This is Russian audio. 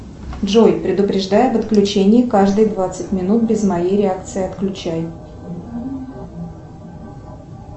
джой предупреждай об отключении каждые двадцать минут без моей реакции отключай